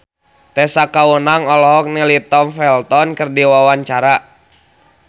Tessa Kaunang olohok ningali Tom Felton keur diwawancara